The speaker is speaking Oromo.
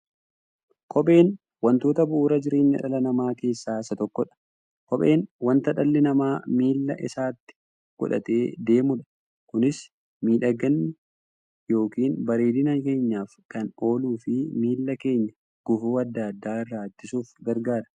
Kopheen wantoota bu'uura jireenya dhala namaa keessaa isa tokkodha. Kopheen wanta dhalli namaa miilla isaatti godhatee deemudha. Kunis miidhagani yookiin bareedina keenyaf kan ooluufi miilla keenya gufuu adda addaa irraa ittisuuf gargaara.